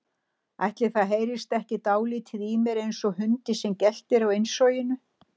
Ætli það heyrist ekki dáldið í mér einsog hundi sem geltir á innsoginu.